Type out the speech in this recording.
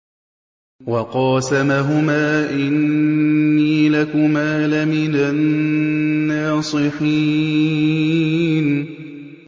وَقَاسَمَهُمَا إِنِّي لَكُمَا لَمِنَ النَّاصِحِينَ